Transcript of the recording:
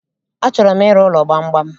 Achọrọ m ịrụ ụlọ gbamgbam